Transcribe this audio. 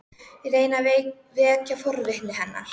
Ég reyni að vekja forvitni hennar.